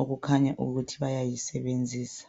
okukhanya ukuthi bayayisebenzisa.